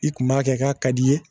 I kun b'a kɛ k'a ka d'i ye